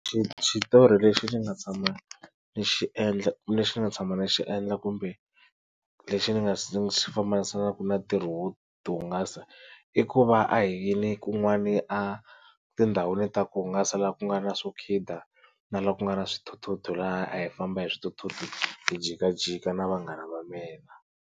Xitori lexi ni nga tshama ni xi endla lexi ni xi nga tshama ni xi endla kumbe lexi ni nga si xi fambisanaka na ntirho wo hungasa i ku va a hi hiyini kun'wani a tindhawini ta ku hungasa laha ku nga na swo khida na laha ku nga na swithuthuthu laha a hi famba hi swithuthuthu hi jikajika na vanghana va mina.